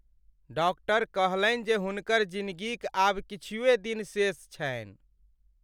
Doctor कहलनि जे हुनकर जिनगीक आब किछुए दिन शेष छनि।